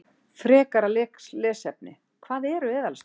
Frekara lesefni: Hvað eru eðalsteinar?